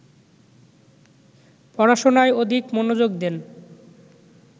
পড়াশুনায় অধিক মনোযোগ দেন